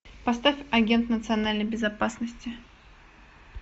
поставь агент национальной безопасности